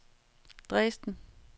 Dresden